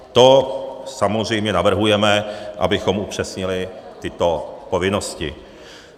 To samozřejmě navrhujeme, abychom upřesnili tyto povinnosti.